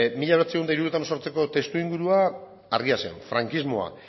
mila bederatziehun eta hirurogeita hemezortziko testuingurua argia zen frankismoa